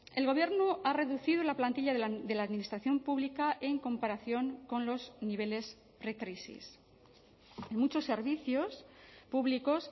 el gobierno ha reducido la plantilla de la administración pública en comparación con los niveles precrisis en muchos servicios públicos